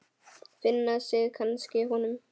Finna sig kannski í honum.